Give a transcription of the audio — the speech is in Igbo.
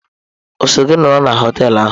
O so gi nọrọ na họteelu ahụ?